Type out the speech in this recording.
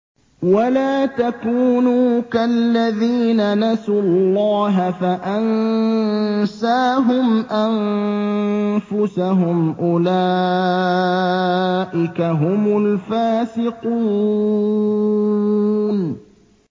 وَلَا تَكُونُوا كَالَّذِينَ نَسُوا اللَّهَ فَأَنسَاهُمْ أَنفُسَهُمْ ۚ أُولَٰئِكَ هُمُ الْفَاسِقُونَ